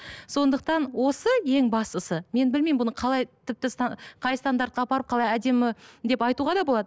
сондықтан осы ең бастысы мен білмеймін бұны қалай тіпті қай стандарттарға апарып қалай әдемі деп айтуға да болады